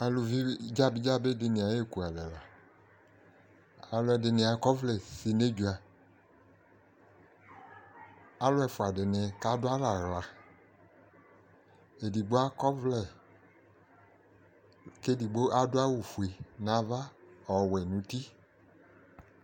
Aluvidɩnɩ dzabɩ dzabɩ dɩnɩ ay'ekualɛ la :alʋɛdɩnɩ akɔvlɛ si n'edzuǝ ; alʋ ɛfʋadɩnɩ k'adʋalɛ aɣla Edigbo akɔvlɛ, k'edigbo adʋ awʋfue n'ava , ɔwɛ n'uti